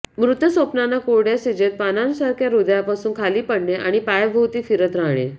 मृत स्वप्नांना कोरड्या सीझेत पानांसारख्या हृदयापासून खाली पडणे आणि पायभोवती फिरत राहणे